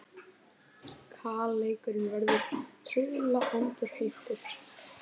Kaleikurinn verður trauðla endurheimtur